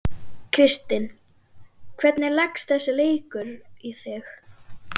Kristinn, hvernig leggst þessi leikur í þig?